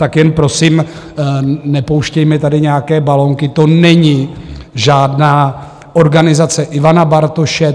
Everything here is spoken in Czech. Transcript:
Tak jen prosím, nepouštějme tady nějaké balonky, to není žádná organizace Ivana Bartoše.